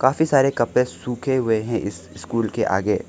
काफी सारे कपड़े सूखे हुए हैं इस स्कूल के आगे--